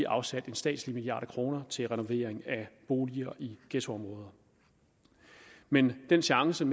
afsat en statslig milliard kroner til renovering af boliger i ghettoområder men den chance